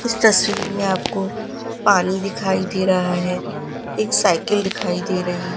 इस तस्वीर में आपको पानी दिखाई दे रहा है एक साइकिल दिखाई दे रही--